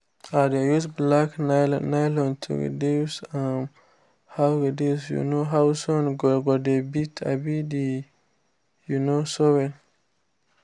i dey use black nylon to reduce um how reduce um how sun go dey beat um the um soil